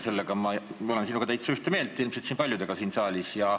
Selles ma olen sinuga täiesti ühte meelt nagu ilmselt paljud siin saalis.